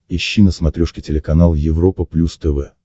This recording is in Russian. ищи на смотрешке телеканал европа плюс тв